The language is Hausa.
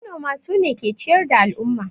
Manoma sune ke ciyar da al'umma